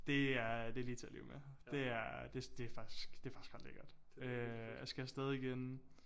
Det er det lige til at leve med det er det det er faktisk det faktisk ret lækkert øh jeg skal afsted igen